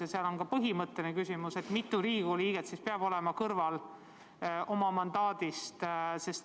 Aga siin on ka põhimõtteline küsimus, mitu Riigikogu liiget siis peab olema kõrval oma mandaadi kasutamisest.